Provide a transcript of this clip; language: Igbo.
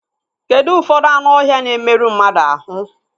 Kedụ ụfọdụ anụ ọhịa na-emerụ mmadụ ahụ?